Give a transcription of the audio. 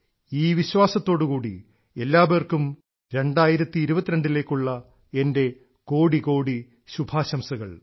ഈ വിശ്വാസത്തോടുകൂടി എല്ലാപേർക്കും 2022ലേക്കുള്ള എൻറെ കോടികോടി ശുഭാശംസകൾ